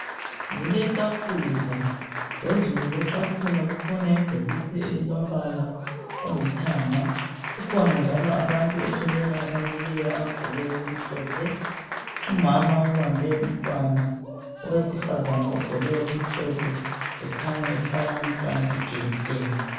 Kuletafula phezulu kwetafula kukhona ibhokisi elilompala olithanga kukhona njalo abantu eceleni abamileyo abagqoke okumhlophe umama ubambe umntwana owesifazana ogqoke okumhlophe ekhanya ehlaba umntwana ijekiseni.